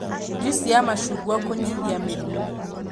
Njuici ya macungwa kũnyihia mĩrimũ